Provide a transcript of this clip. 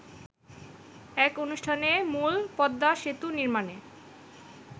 এক অনুষ্ঠানে মূলপদ্মা সেতু নির্মাণে